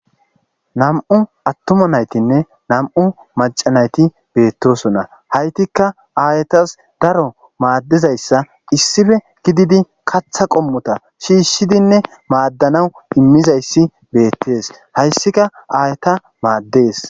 nam'u attuma naytinne nam'u macanayti beettosona haytikka aayetas daro maaddizayssa issife gididi katha qommota shiishshidinne maaddanawu immizayssi beettees hayssika aayata maaddees